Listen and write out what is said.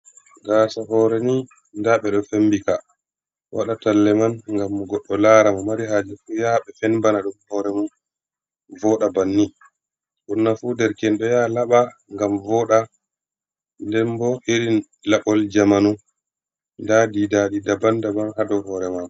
Gaasa hore ni nda ɓe ɗo fembi ka waɗa talla man ngam goɗɗo lara mo mari haje fu yaha ɓe fenbana ɗum hore mun voɗa bannin ɓurna fu derke'en doya laɓa ngam voɗa nden bo irin laɓol jamanu nda didaɗi daban daban ha hore mako.